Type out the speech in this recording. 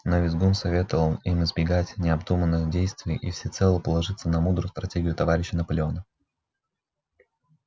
но визгун советовал им избегать необдуманных действий и всецело положиться на мудрую стратегию товарища наполеона